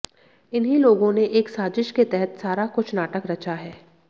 इन्ही लोगों ने एक साजिश के तहत सारा कुछ नाटक रचा है